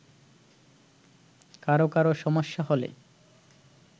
কারো কারো সমস্যা হলে